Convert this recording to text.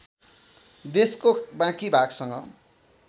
देशको बाँकी भागसँग